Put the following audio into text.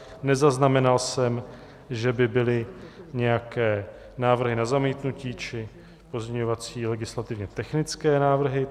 Nezaznamenal jsem, že by byly nějaké návrhy na zamítnutí či pozměňovací legislativně technické návrhy.